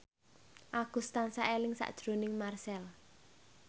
Agus tansah eling sakjroning Marchell